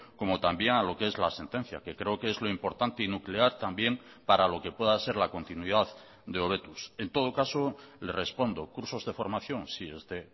como también a lo que es la sentencia que creo que es lo importante y nuclear también para lo que pueda ser la continuidad de hobetuz en todo caso le respondo cursos de formación sí este